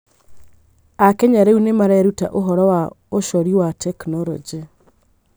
Akenya rĩu nĩ mareruta ũhoro wa ũcorii wa tekinoronjĩ.